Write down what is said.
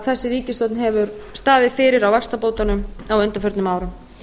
þessi ríkisstjórn hefur staðið fyrir á vaxtabótunum á undanförnum árum